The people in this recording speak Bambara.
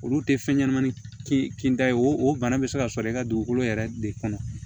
Olu tɛ fɛn ɲɛnɛmani kinda ye o o bana bɛ se ka sɔrɔ i ka dugukolo yɛrɛ de kɔnɔ